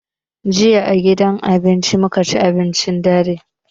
Jiya a gidan abinci mu ka ci abincin dare.